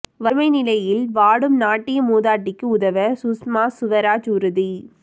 வறுமை நிலையில் வாடும் நாட்டிய மூதாட்டிக்கு உதவ சுஷ்மா சுவராஜ் உறுதி